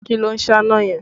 Kí ló ń sáná yẹn?